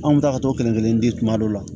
Anw bɛ taa ka t'o kelen kelen di kuma dɔw la